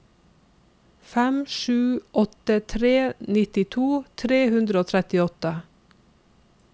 fem sju åtte tre nittito tre hundre og trettiåtte